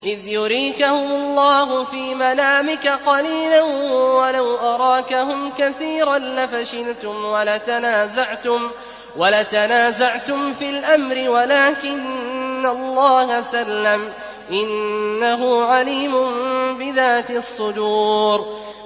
إِذْ يُرِيكَهُمُ اللَّهُ فِي مَنَامِكَ قَلِيلًا ۖ وَلَوْ أَرَاكَهُمْ كَثِيرًا لَّفَشِلْتُمْ وَلَتَنَازَعْتُمْ فِي الْأَمْرِ وَلَٰكِنَّ اللَّهَ سَلَّمَ ۗ إِنَّهُ عَلِيمٌ بِذَاتِ الصُّدُورِ